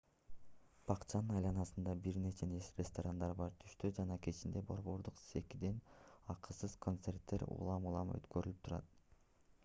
бакчанын айланасында бир нече ресторандар бар түштө жана кечинде борбордук секиден акысыз концерттер улам-улам өткөрүлүп турат